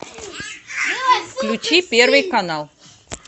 включи первый канал